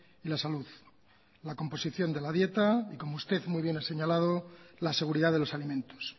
y la salud la composición de la dieta y como usted muy bien ha señalado la seguridad de los alimentos